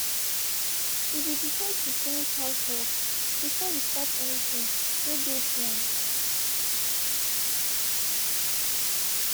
we be decide to finish housework before we start anything wey de plan.